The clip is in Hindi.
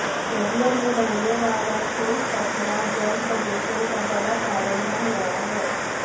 नदियों में बहने वाला ठोस कचरा जल प्रदूषण का बड़ा कारण बन गया है